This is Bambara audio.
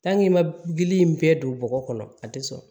i ma gili in bɛɛ don bɔgɔ kɔnɔ a te sɔrɔ